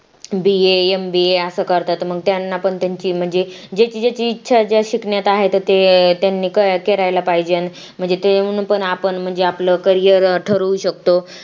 BAMBA असं करतात मग त्यांना पण त्यांची म्हणजे ज्याची ज्याची इचछा शिकण्यात आहे तर ते अं त्यांनी करायला पाहिजे म्हणजे ते येऊन पण आपण म्हणजे आपलं career ठरवू शकतो